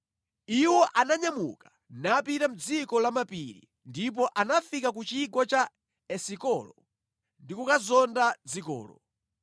Iwo ananyamuka napita mʼdziko la mapiri, ndipo anafika ku Chigwa cha Esikolo ndi kukazonda dzikolo.